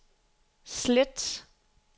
slet